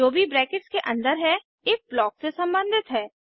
जो भी ब्रैकेट्स के अन्दर है इफ ब्लॉक से संबंधित है